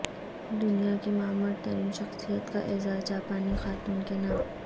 دنیا کی معمر ترین شخصیت کا اعزاز جاپانی خاتون کے نام